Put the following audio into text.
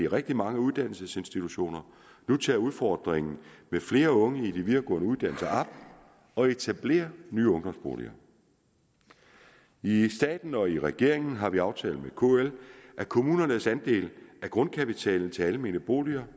rigtig mange uddannelsesinstitutioner nu tager udfordringen med flere unge på de videregående uddannelser op og etablerer nye ungdomsboliger i staten og i regeringen har vi aftalt med kl at kommunernes andel af grundkapitalen til almene boliger